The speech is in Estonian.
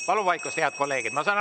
Palun vaikust, head kolleegid!